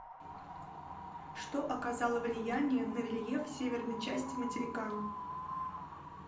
что оказало влияние на рельеф северной части материка